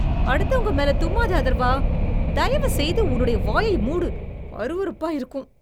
அடுத்தவங்க மேலே தும்மாத அதர்வா. தயவுசெய்து உன்னுடைய வாயை மூடு. அருவருப்பா இருக்கும்.